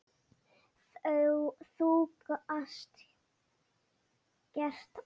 Þú gast gert allt.